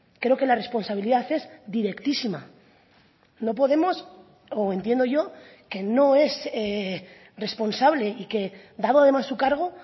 creo que la responsabilidad es directísima no podemos o entiendo yo que no es responsable y que dado además su cargo